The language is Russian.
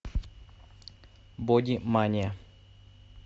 боди мания